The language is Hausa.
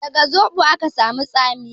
Daga zoɓo ake samun tsamiya?